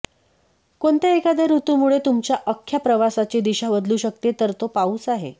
कोणत्या एखाद्या ऋतूमुळे तुमच्या अख्ख्या प्रवासाची दिशा बदलू शकते तर तो पाऊस आहे